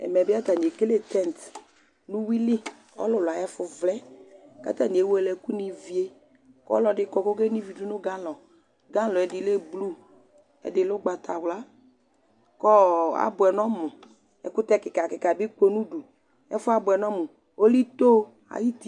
Ɛmɛ bi ata ni ekele tint nu uwʋi li, ɔlulu ayu ɛfu vlɛ, ku ata ni ewele ɛku ni vie, ku ɔlɔdi kɔ kɔke no ivi du nu galon, galon yɛ ɛdi lɛ blu, ɛdi lɛ ugbata wla, kɔɔ abʋɛ nu ɔmu, ɛkutɛ kika kika bi kɔ nu udu ɛfuɛ abʋɛ nu ɔmu , ɔlɛ ito ayu uti